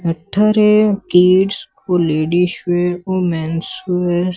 ଏଠାରେ କିଡ଼ସ୍ ଓ ladies wear ଓ ମେନ୍ସ୍ ଉୟର୍ --